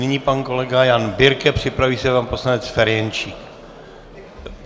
Nyní pan kolega Jan Birke, připraví se pan poslanec Ferjenčík.